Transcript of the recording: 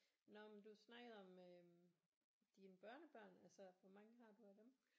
Nåh men du snakkede om øh dine børnebørn altså hvor mange har du af dem